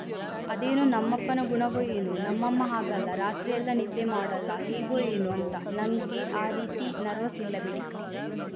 ಅದೇನೋ ನಮ್ಮಪ್ಪನ ಗುಣವೋ ಏನೋ ನಮ್ಮಮ್ಮ ಹಾಗಲ್ಲ ರಾತ್ರಿಯೆಲ್ಲ ನಿದ್ದೆ ಮಾಡೋಲ್ಲ ಹೇಗೋ ಎನೋ ಅಂತ ನಂಗೆ ಆ ರೀತಿ ನರ್ವಸ್‌ ಇಲ್ಲ ಬಿಡಿ